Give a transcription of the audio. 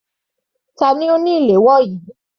Tani ó ni flier yìí?